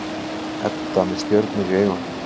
Edda með stjörnur í augunum.